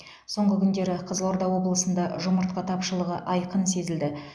соңғы күндері қызылорда облысында жұмыртқа тапшылығы айқын сезілді